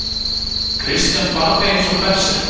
Christian barðist eins og berserkur.